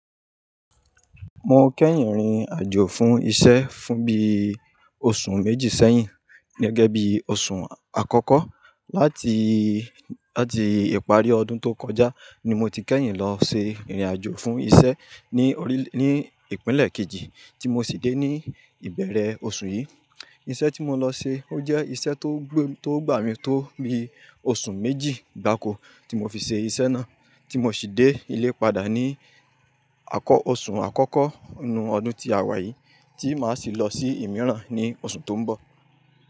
Mo kẹ́yìn rìnrìn àjò fún isẹ́ fún bí oṣù méjì sẹ́yìn, gẹ́gẹ́ bí oṣù àkọ́kọ́ láti, láti ìparí ọdún tó kọjá ni mo ti kẹ́yìn lọ ṣe ìrìn àjò fún isẹ́ ní orílè, ní ìpínlẹ̀ kejì tí mo sì dé ní ìbẹ̀rẹ̀ oṣù yìí. Iṣẹ́ tí mo lọ ṣe ó jẹ́ iṣẹ́ tó gbà mí tó mi oṣù méjì gbáko tí mo fi ṣe iṣẹ́ náà, tí mo sì dé ilé padà ní àkọ́, oṣù àkọ́kọ́ inú ọdún tí a wà yìí, tí màá sì lọ sí ìmíràn ní oṣù tó ń bọ̀.